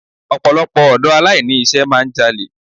Ọ̀pọ̀lọpọ̀ ọ̀dọ́ aláìní iṣẹ́ máà ń jalè.